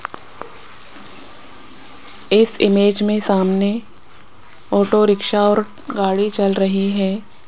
इस इमेज में सामने ऑटो रिक्शा और गाड़ी चल रही है।